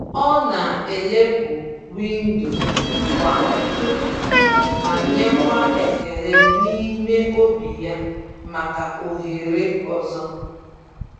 Ọ na-elepụ windo kwa ụtụtụ ma nyekwa ekele n’ime obi ya maka ohere ọzọ.